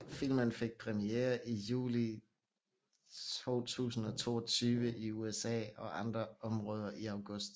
Filmen fik premiere i juli 2022 i USA og andre områder i august